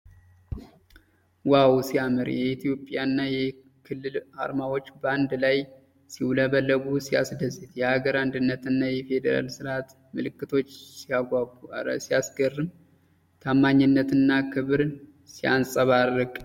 ዋው ሲያምር! የኢትዮጵያና የክልል ዓርማዎች በአንድ ላይ ሲውለበለቡ ሲያስደስት! የአገር አንድነትና የፌደራል ስርዓት ምልክቶች ሲያጓጉ! እረ ሲያስገርም! ታማኝነትና ክብር ሲያንጸባርቅ!